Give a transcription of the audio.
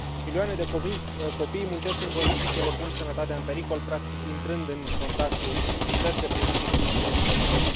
Milioane de copii muncesc în condiții ce le pun sănătatea în pericol, practic intrând în contact cu diverse produse chimice nocive.